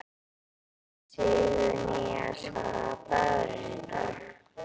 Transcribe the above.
Sigurnýjas, hvaða dagur er í dag?